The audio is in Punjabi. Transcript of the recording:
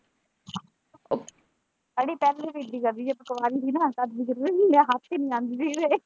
ਅੜੀਏ ਪਹਿਲਾਂ ਵੀ ਇਦਾਂ ਹੀ ਕਰਦੀ ਹੀ ਜਦ ਕੁਆਰੀ ਹੀ ਨਾ ਤਦ ਦਿੱਖਣੀ ਹੀ ਮੈਂ ਹੱਥ ਹੀ ਨਹੀਂ ਆਉਂਦੀ ਇਹਦੇ।